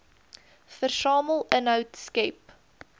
versamel inhoud skep